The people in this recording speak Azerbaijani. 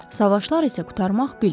Savaşlar isə qurtarmaq bilmir.